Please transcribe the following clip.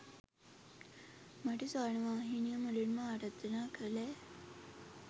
මට ස්වර්ණවාහිනිය මුලින්ම ආරාධනා කළේ